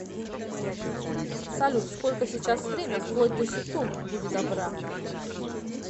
салют сколько сейчас время вплоть до секунд будь добра